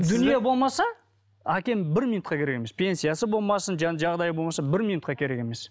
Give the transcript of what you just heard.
дүние болмаса әкем бір минутқа керек емес пенсиясы болмасын жағдайы болмаса бір минутқа керек емес